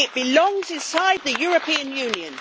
It belongs inside the European Union.